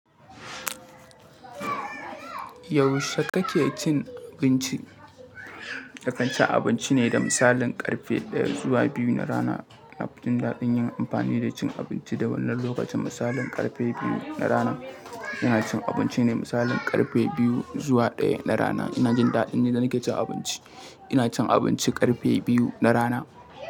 Yaushe kake cin abinci? Na kanci abinci ne da misalin karfe ɗaya zuwa biyu na rana. Na fi jin daɗin yin amfani da cin abinci da wannan lokacin. Misalin karfe biyu na rana, ina cin abinci ne. Misalin karfe biyu zuwa ɗaya na rana, ina jin daɗin yadda nake cin abinci. Ina cin abinci karfe biyu na rana.